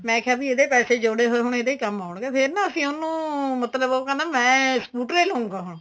ਮੈਂ ਕਿਹਾ ਬੀ ਇਹਦੇ ਪੈਸੇ ਜੋੜੇ ਹੋਏ ਹੁਣ ਇਹਦੇ ਈ ਕੰਮ ਆਉਣਗੇ ਫੇਰ ਅਸੀਂ ਉਹਨੂੰ ਮਤਲਬ ਉਹ ਕਹਿੰਦਾ ਮੈਂ scooter ਈ ਲਉਗਾ ਹੁਣ